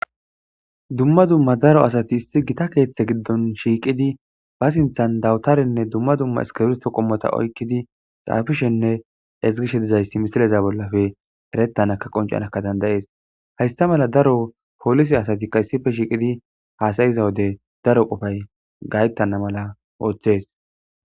dumma dumma daro asati isti gita keeththe giddon shiiqidi ba sinthan dawutarenne dumma dumma eskebisto qommota oykkidi xaafishenne ezgishe dizayssi misileza bollafe erettanaka qoncanakka dandayees haysta mala daro polise asatikka issife shiiqidi haasayiza wode daro qofay gayttana mala ooththees